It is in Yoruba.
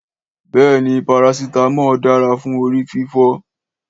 Béèni, parasitamọ dara fún orí fífọ́